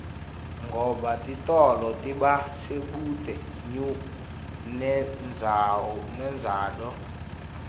ngoba titolo tiba sebuute nendzawd